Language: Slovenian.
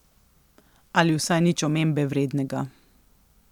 Ali vsaj nič omembe vrednega.